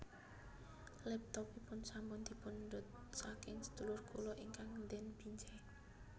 Laptopipun sampun dipundhut saking sedulur kula ingkang ten Binjai